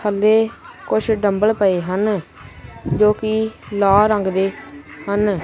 ਥੱਲੇ ਕੁਝ ਡੰਬਲ ਪਏ ਹਨ ਜੋ ਕਿ ਲਾਲ ਰੰਗ ਦੇ ਹਨ।